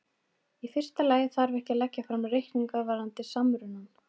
Í fyrsta lagi þarf ekki að leggja fram reikninga varðandi samrunann.